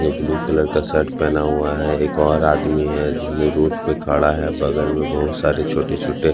--blue colour का shirt पहना हुआ है एक और आदमी है जिसने रोड पे खड़ा है बगल में बहुत सारे छोटे-छोटे--